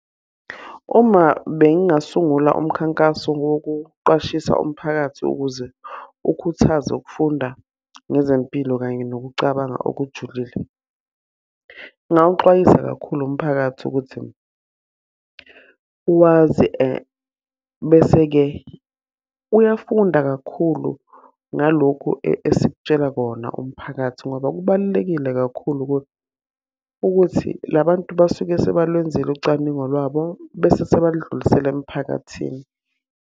Uma bengingasungula umkhankaso wokuqwashisa umphakathi ukuze ukhuthaze ukufunda ngezempilo kanye nokucabanga okujulile. Ngingawuxwayisa kakhulu umphakathi ukuthi, wazi bese-ke uyafunda kakhulu ngalokhu esikutshela kona umphakathi. Ngoba kubalulekile kakhulu ukuthi la bantu basuke sebalwenzile ucwaningo lwabo bese sebaludlulisela emphakathini.